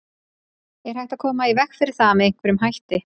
Er hægt að koma í veg fyrir það með einhverjum hætti?